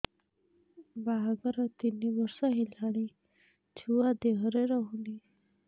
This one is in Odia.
ବାହାଘର ତିନି ବର୍ଷ ହେଲାଣି ଛୁଆ ଦେହରେ ରହୁନି